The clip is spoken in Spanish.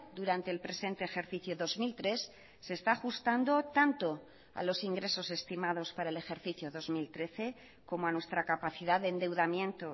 durante el presente ejercicio dos mil tres se está ajustando tanto a los ingresos estimados para el ejercicio dos mil trece como a nuestra capacidad de endeudamiento